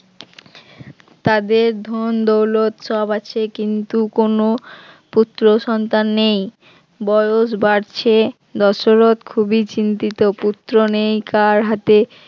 তাদের ধন দৌলত সব আছে কিন্তু কোন পুত্র সন্তান নেই বয়স বাড়ছে দশরথ খুবই চিন্তিত পুত্র নিয়ে কার হাতে